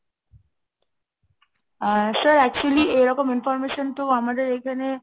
আ sir actually এইরকম information তো আমাদের এখানে